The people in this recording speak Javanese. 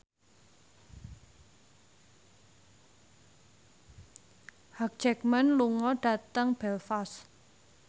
Hugh Jackman lunga dhateng Belfast